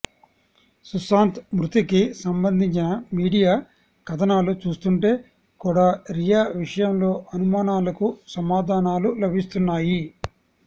సుశాంత్ మృతికి సంబంధించిన మీడియా కథనాలు చూస్తుంటే కూడా రియా విషయంలో అనుమానాలకు సమాధానాలు లభిస్తున్నాయి